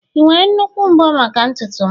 ị nwere nnukwu mbo maka ntutu m?